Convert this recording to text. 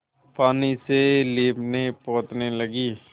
पानी से लीपनेपोतने लगी